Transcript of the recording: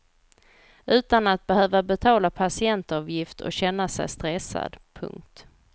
Utan att behöva betala patientavgift och känna sig stressad. punkt